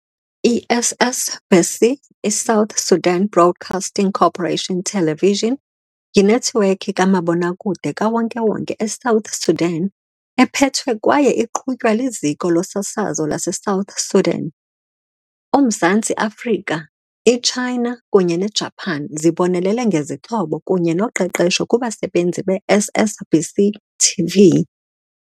I-SSBC TV, i-South Sudan Broadcasting Corporation Television, yinethiwekhi kamabonakude kawonke-wonke eSouth Sudan ephethwe kwaye iqhutywa liZiko loSasazo laseSouth Sudan. UMzantsi Afrika, iChina kunye neJapan zibonelele ngezixhobo kunye noqeqesho kubasebenzi be-SSBC TV.